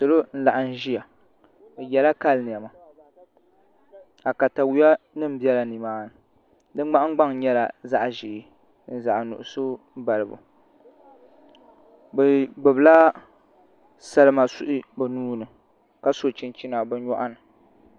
Salo n laɣam ʒiya bi yɛla kali niɛma ka katawiya nim biɛla nimaani di nahangbaŋ nyɛla zaɣ ʒiɛ ni zaɣ nuɣso balibu bi gbubila salima suhi bi nuuni ka so chinchina bi nyoɣani